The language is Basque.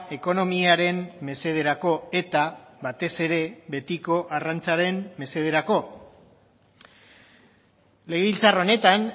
ekonomiaren mesederako eta batez ere betiko arrantzaren mesederako legebiltzar honetan